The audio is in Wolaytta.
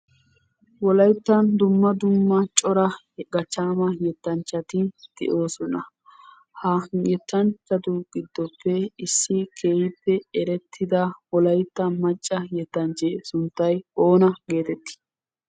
Wolayttan dumma dumma cora gachchaama yettanchchati de'oosona. Ha yettanchchatu gidoppe issi keehippe erettida wolayitta macca yettanchchee sunttay oona geetetti?